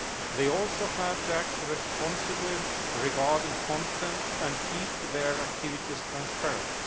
They also have to act responsibly regarding content, and keep their activities transparent.